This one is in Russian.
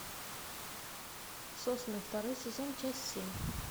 сосны второй сезон часть семь